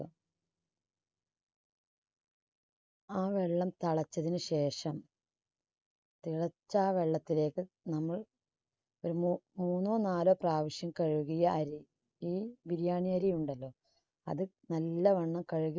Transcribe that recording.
ആ വെള്ളം തളച്ചതിനു ശേഷം തിളച്ച ആ വെള്ളത്തിലേക്ക് നമ്മൾ പിന്നെ മൂന്നോ നാലോ പ്രാവശ്യം കഴുകിയ അരി ഈ biriyani അരി ഉണ്ടല്ലോ അത് നല്ലവണ്ണം കഴുകി